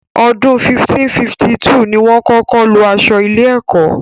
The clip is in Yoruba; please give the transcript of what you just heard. Ọdún 1552 ni wọ́n kọ́kọ́ lo aṣọ ilé-ẹ̀kọ́.